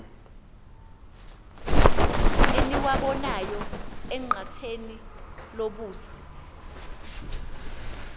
eniwabonayo enqatheni lobusi